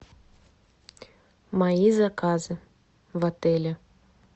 мои заказы в отеле